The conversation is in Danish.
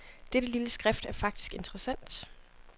Dette lille skrift er faktisk interessant.